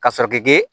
Ka sɔrɔ k'i g